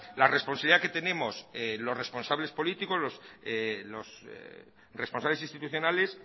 la responsabilidad que tenemos los responsables políticos los responsables institucionales